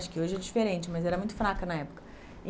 Acho que hoje é diferente, mas era muito fraca na época.